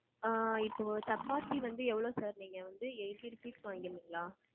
ஆ இப்போ சப்பாத்தி வந்து எவளோ sir? நீங்க வந்து eighty rupees க்கு வாங்கிருந்தீங்களா?